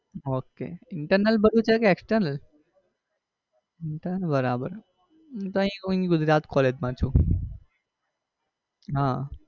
ok internal બધું છે કે external? ઇન્ટરનલ બરાબર હું તો અહીં ગુજરાત collage માં છું. Uh ok